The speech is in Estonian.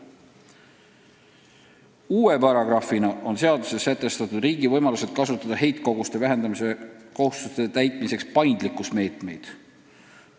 Uue paragrahvina on seaduseelnõus sätestatud riigi võimalused kasutada heitkoguste vähendamise kohustuste täitmiseks paindlikkuse meetmeid.